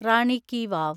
റാണി ki വാവ്